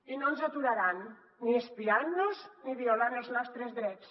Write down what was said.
i no ens aturaran ni espiant nos ni violant els nostres drets